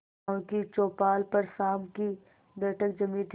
गांव की चौपाल पर शाम की बैठक जमी थी